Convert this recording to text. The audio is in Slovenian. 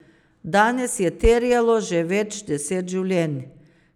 Danes je terjalo že več deset življenj.